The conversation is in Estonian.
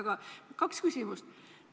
Mul on kaks küsimust.